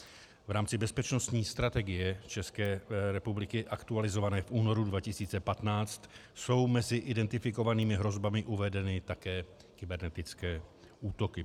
V rámci bezpečnostní strategie České republiky aktualizované v únoru 2015 jsou mezi identifikovanými hrozbami uvedeny také kybernetické útoky.